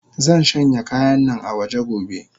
Zanshanya kayannan awaje gobe.